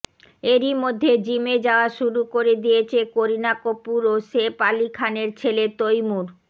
এরই মধ্যে জিমে যাওয়া শুরু করে দিয়েছে করিনা কপূর ও সেফ আলি খানের ছেলে তৈমুর